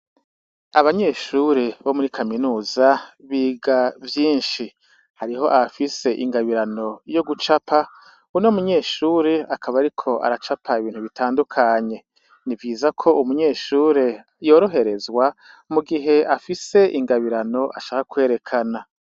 Abanyeshure bo muri kaminuza biga vyinshi, hariho abafise ingabirano yo gucapa uno munyeshure akaba ariko aracapa ibintu bitandukanye, nivyiza ko umunyeshure yoroherezwa mugihe afise ingabirano ashaka kwerekana.